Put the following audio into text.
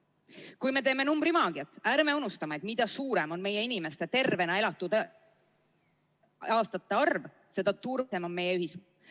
Kui me teeme numbrimaagiat, ärme unustame, et mida suurem on meie inimeste tervena elatud aastate arv, seda turvalisem on meie ühiskond.